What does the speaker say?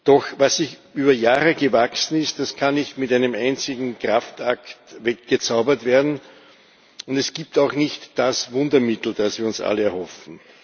Doch was über Jahre gewachsen ist, das kann nicht mit einem einzigen Kraftakt weggezaubert werden, und es gibt auch nicht das Wundermittel, das wir uns alle erhoffen.